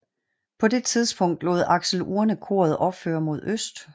På det tidspunkt lod Axel Urne koret opføre mod øst